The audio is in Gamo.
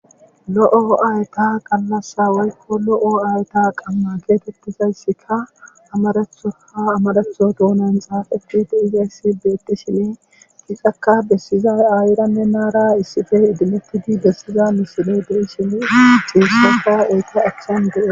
lo7o ayta qallas waykko lo7o aayta qamma geetettizayssika amarethoha amaretho dounan xaafati de isassi beetti shine gixaka bessizay aayiranne naara issife idimettidi bessiza misile de7i shine xiirsafa eete achchen de7e